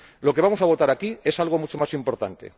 Lo que vamos a votar aquí es algo mucho más importante.